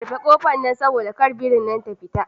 Kufe kofar nan saboda kada birin nan ta fita.